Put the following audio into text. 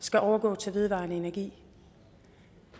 skal overgå til vedvarende energi